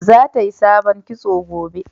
za ta yi sabon kitso gobe